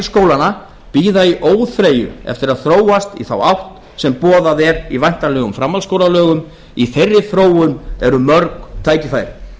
skólanna bíða í óþreyju eftir að þróast í þá átt sem boðuð er í væntanlegum framhaldsskólalögum í þróun eru mörg tækifæri